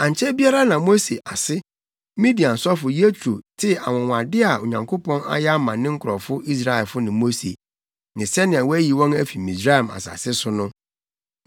Ankyɛ biara na Mose ase, Midian sɔfo Yetro, tee anwonwade a Onyankopɔn ayɛ ama ne nkurɔfo Israelfo ne Mose, ne sɛnea wayi wɔn afi Misraim asase so no.